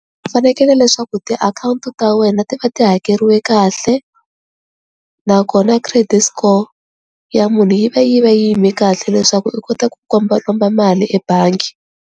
U fanekele leswaku tiakhawunti ta wena ti va ti hakeriwe kahle nakona credit score ya munhu yi va yi va yi yime kahle leswaku u kota ku kombakomba mali ebangi.